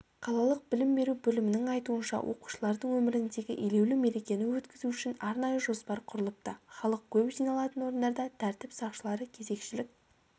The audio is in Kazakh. қалалық білім беру бөлімінің айтуынша оқушылардың өміріндегі елеулі мерекені өткізу үшін арнайы жоспар құрылыпты халық көп жиналатын орындарда тәртіп сақшылары кезекшілік